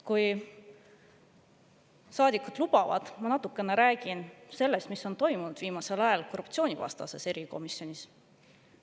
Kui saadikud lubavad, ma natukene räägin sellest, mis on toimunud viimasel ajal korruptsioonivastases erikomisjonis.